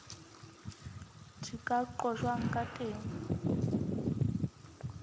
di ka qojwang ka teng